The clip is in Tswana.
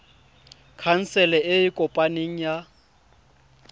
khansele e e kopaneng ya